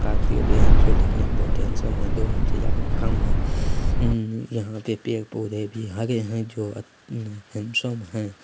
काफी अभी यहाँ से देखने में बहुत हैंडसम है दो मंजिला के मकान है उम यहाँ के पेड़ पौधे भी हरे है जो अ हैंडसम है।